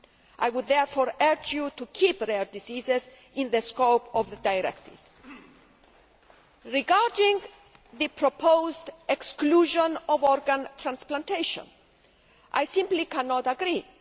I would therefore urge you to keep rare diseases in the scope of the directive. Regarding the proposed exclusion of organ transplantation, I simply cannot agree.